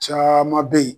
Caman bɛ yen